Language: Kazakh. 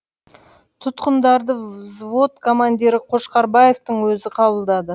тұтқындарды взвод командирі қошқарбаевтың өзі қабылдады